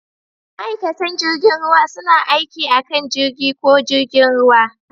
Ma'aikatan jirgin ruwa suna aiki a kan jirgi ko jirgin ruwa.